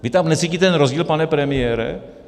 Vy tam necítíte ten rozdíl, pane premiére?